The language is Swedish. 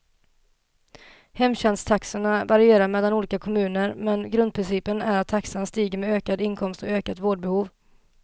Hemtjänsttaxorna varierar mellan olika kommuner, men grundprincipen är att taxan stiger med ökad inkomst och ökat vårdbehov.